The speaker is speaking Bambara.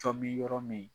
Cɔ min yɔrɔ min